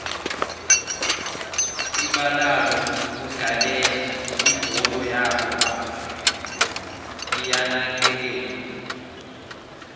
ibalalokudlalela ibholo yobo baba liyanakekelwa